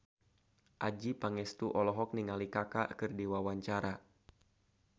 Adjie Pangestu olohok ningali Kaka keur diwawancara